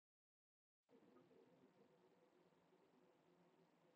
Kælingin skal vara þar til sársaukinn er horfinn.